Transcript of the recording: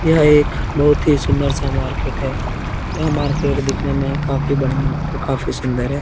यह एक बहुत ही सुंदर सा मार्किट है यह मार्किट दिखने में काफी बढ़िया और काफी सुंदर है।